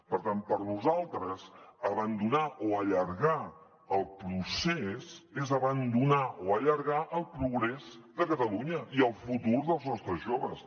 per tant per nosaltres abandonar o allargar el procés és abandonar o allargar el progrés de catalunya i el futur dels nostres joves